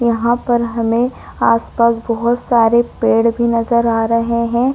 यहाँ पर हमें आस-पास बोहत सारे पेड़ भी नज़र आ रहे हैं।